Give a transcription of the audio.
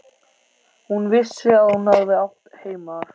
Hún vissi að hún hafði átt heima þar.